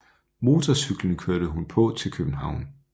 Motorcyklen kørte hun på til København